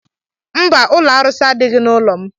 Mba, ụlọ arụsi adịghị n'ụlọ m